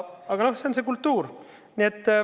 Aga noh, see on see kultuur.